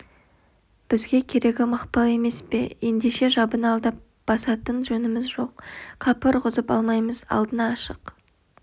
бізге керегі мақпал емес пе ендеше жабыны алдап басатын жөніміз жоқ қапы ұрғызып алмаймыз алдына ашық